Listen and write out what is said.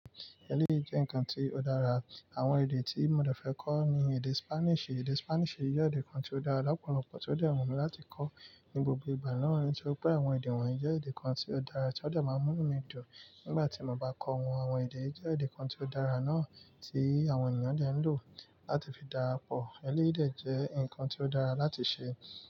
Eléyìí jẹ́ nǹkan tí ó dára. Àwọn èdè tí mo dẹ̀ fẹ́ kọ́ ni èdè Spanish. Èdè Spanish jẹ́ èdè kan tí ó dára lọ́pọ̀lọpọ̀ tí ó dẹ̀ wu mí láti kọ́ ní gbogbo ìgbà na. Nítorí pé àwọn èdè wọ̀nyí jẹ́ èdè kan tí ó dára tí ó dẹ̀ máa mú mí dùn nígbà tí mo bá kọ́ wọn. Àwọn èdè tii jẹ́ èdè kan tí ó dára náà tí àwọn ènìyàn dẹ̀ ń lò láti fi darapọ̀. Eléyìí dẹ̀ jẹ́ nǹkan tí ó dára láti ṣe.